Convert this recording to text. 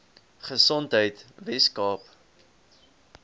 gesondheidweskaap